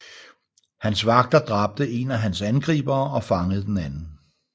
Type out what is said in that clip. Hans vagter dræbte en af hans angribere og fangede den anden